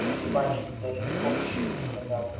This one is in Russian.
ты ебач ты даже не помнишь что ты сказал